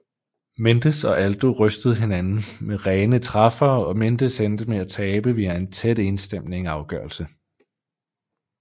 Mendes og Aldo rystede hinanden med rene træffere og Mendes endte med at tabe via en tæt enstemmig afgørelse